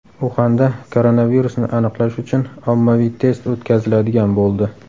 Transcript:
Uxanda koronavirusni aniqlash uchun ommaviy test o‘tkaziladigan bo‘ldi.